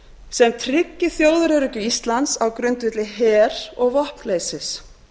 sem tryggi þjóðaröryggi íslands á grundvelli her og vopnleysis